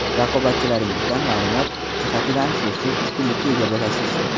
Raqobatchilaringizdan ma’lumot jihatidan so‘zsiz ustunlikka ega bo‘lasiz.